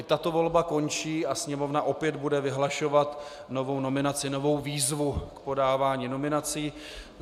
I tato volba končí a Sněmovna opět bude vyhlašovat novou nominaci, novou výzvu k podávání nominací.